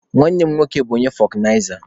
Nwanne mụ nwoke bụ fọkụnaiza.